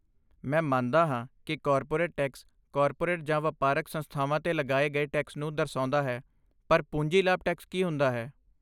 ਮੈਂ ਮੰਨਦਾ ਹਾਂ ਕਿ ਕਾਰਪੋਰੇਟ ਟੈਕਸ ਕਾਰਪੋਰੇਟ ਜਾਂ ਵਪਾਰਕ ਸੰਸਥਾਵਾਂ 'ਤੇ ਲਗਾਏ ਗਏ ਟੈਕਸ ਨੂੰ ਦਰਸਾਉਂਦਾ ਹੈ ਪਰ ਪੂੰਜੀ ਲਾਭ ਟੈਕਸ ਕੀ ਹੁੰਦਾ ਹੈ?